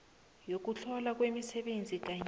yokuhlolwa kwemisebenzi kanye